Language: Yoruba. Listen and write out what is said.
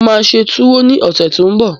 Mo máa ṣe túwó ní ọ̀sẹ̀ tó n bọ̀